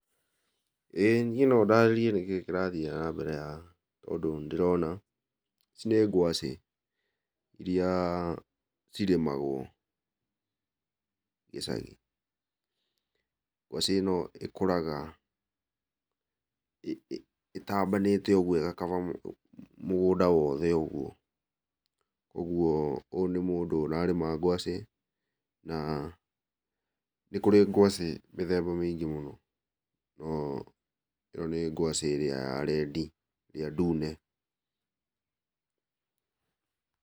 Ĩĩ niĩ no ndarĩrie kĩrĩa kĩrathiĩ na mbere haha tondũ nĩ ndĩrona ici nĩ ngwacĩ irĩa cirĩmagwo gĩcagi, ngwacĩ ĩno ĩkũraga ĩtambanĩte ũguo ĩgakaba mũgũnda wothe ũguo, ũguo ũyũ nĩ mũndũ ũrarĩma ngwacĩ, na nĩ kũrĩ ngwacĩ mĩthemba mĩingĩ mũno, no ĩno nĩ ngwacĩ ĩrĩa ya red, ĩrĩa ndune.